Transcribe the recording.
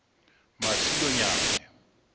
masilonyane